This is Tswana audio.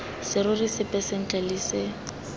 serori sepe ntle le se